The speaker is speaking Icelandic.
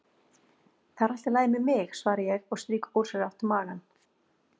Það er allt í lagi með mig, svara ég og strýk ósjálfrátt magann.